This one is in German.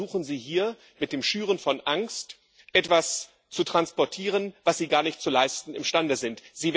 Deswegen versuchen Sie hier, mit dem Schüren von Angst etwas zu transportieren, was Sie gar nicht zu leisten imstande sind.